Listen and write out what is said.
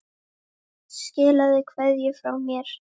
Skilaðu kveðju frá mér.